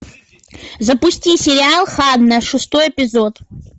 запусти сериал ханна шестой эпизод